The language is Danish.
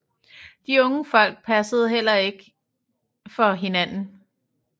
De unge Folk passede heller ikke for hinanden